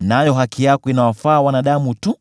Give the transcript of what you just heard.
nayo haki yako inawafaa wanadamu tu.